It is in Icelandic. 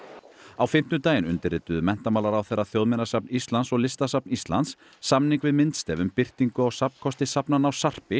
á fimmtudaginn undirrituðu menntamálaráðherra Þjóðminjasafn Íslands og Listasafn Íslands samning við myndstef um birtingu á safnkosti safnanna á